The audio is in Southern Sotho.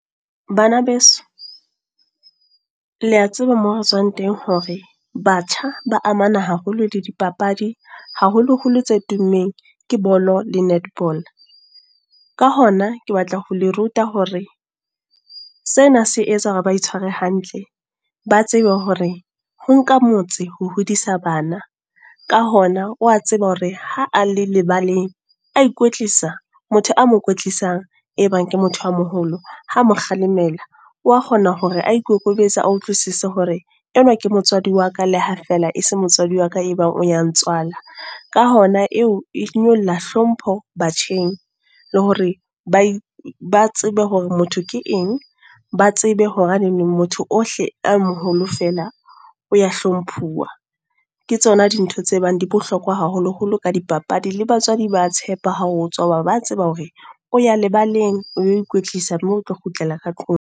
Bana beso. Lea tseba moo re tswang teng hore, batjha ba amana haholo le di papadi. Haholo holo tse tummeng ke bolo le netball. Ka hona ke batla ho le ruta hore, sena se etsa hore ba itshware hantle. Ba tsebe hore, ho nka motse ho hodisa bana. Ka hona wa tseba hore ha a le lebaleng. A ikwetlisa motho a mo kwetlisang e bang ke motho a moholo, ha mo kgalemela wa kgona hore a ikokobetse, a utlwisise hore enwa ke motswadi wa ka leha feela e se motswadi wa ka e bang o ya ntswala. Ka hona eo e nyolla hlompho batjheng. Le hore ba ba tsebe hore motho ke eng, ba tsebe hore neneng motho ohle a moholo feela o ya hlomphuwa. Ke tsona dintho tse bang di bohlokwa haholo holo ka dipapadi. Le batswadi ba tshepa ha o tswa. Hoba ba tseba hore o ya lebaleng, o yo ikwetlisa moo o tlo kgutlela ka tlung.